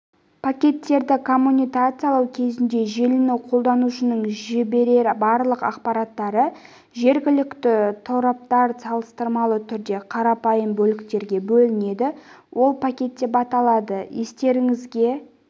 пакеттерді коммутациялау кезінде желіні қолданушының жіберетін барлық ақпараттары жергілікті торапта салыстырмалы түрде қарапайым бөліктерге бөлінеді ол пакет деп аталады естеріңізге